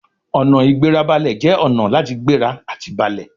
Ọ̀nà-ìgbérabalẹ̀ jẹ́ ọ̀nà láti gbéra àti balẹ̀